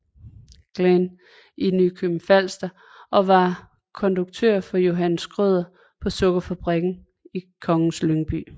Glahn i Nykøbing Falster og var konduktør for Johan Schrøder på Sukkerfabrikken i Kongens Lyngby